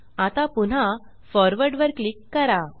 आता पुन्हा forward forward वर क्लिक करा